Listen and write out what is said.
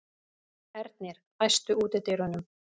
Ernir, læstu útidyrunum.